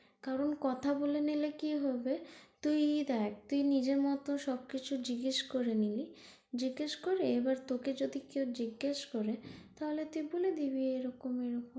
কারন কথা বলে নিলে কি হবে তুই দেখ তুই নিজের মতো সবকিছু জিজ্ঞেস করে নিলি জিজ্ঞেস করে এবার তোকে যদি কেউ জিজ্ঞেস করে তুই বলে দিবি এরকম এরকম,